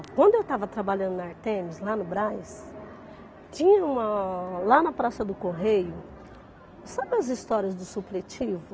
Quando eu estava trabalhando na Artemis, lá no Brás, tinha uma... lá na Praça do Correio... Sabe as histórias do supletivo?